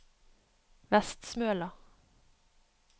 Vestsmøla